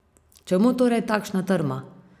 Čemu torej takšna trma?